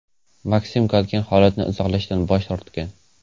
Maksim Galkin holatni izohlashdan bosh tortgan.